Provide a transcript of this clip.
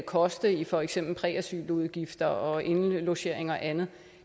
koste i for eksempel præasyludgifter og indlogering og andet